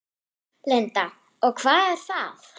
Linda: Og hvað er það?